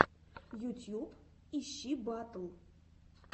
ютьюб ищи батл